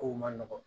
Kow man nɔgɔn